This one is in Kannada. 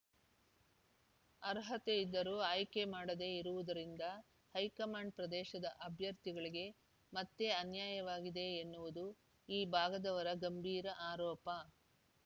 ಅರ್ಹತೆ ಇದ್ದರೂ ಆಯ್ಕೆ ಮಾಡದೆ ಇರುವುದರಿಂದ ಹೈಕಮಂಡ್ ಪ್ರದೇಶದ ಅಭ್ಯರ್ಥಿಗಳಿಗೆ ಮತ್ತೆ ಅನ್ಯಾಯವಾಗಿದೆ ಎನ್ನುವುದು ಈ ಭಾಗದವರ ಗಂಭೀರ ಆರೋಪ